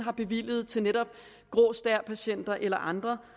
er bevilget til netop grå stær patienter eller andre